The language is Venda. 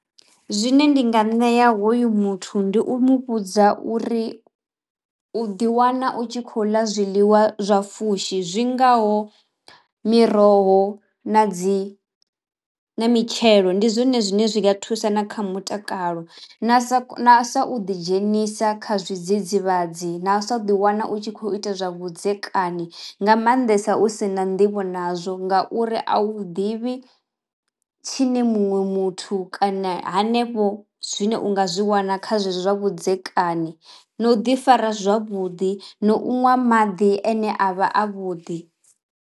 Zwine ndi nga ṋea hoyu muthu ndi u muvhudza uri u ḓi wana u tshi khou ḽa zwiḽiwa zwa pfhushi zwi ngaho miroho na dzi na mitshelo ndi zwone zwine zwi nga thusa na kha mutakalo na sa na sa u ḓi dzhenisa kha zwidzidzivhadzi na u sa ḓi wana u tshi kho ita zwa vhudzekani nga maanḓesa u si na nḓivho nazwo ngauri a u ḓivhi tshine muṅwe muthu kana hanefho zwine unga zwi wana kha zwezwo zwa vhudzekani na u ḓi fara zwavhuḓi no u ṅwa maḓi ane a vha a vhuḓi.